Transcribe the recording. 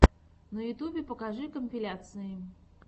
на ютюбе покажи компиляции